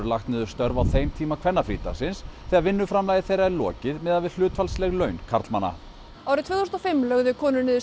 lagt niður störf á þeim tíma kvennafrídagsins þegar vinnuframlagi þeirra er lokið miðað við hlutfallsleg laun karlmanna árið tvö þúsund og fimm lögðu konur niður